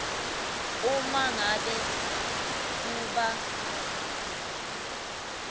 uma ngabe kuba